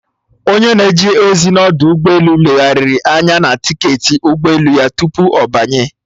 Onye na-eje ozi n'ọdụ ụgbọ elu legharịrị anya na tiketi ụgbọ elu ya tupu ọ banye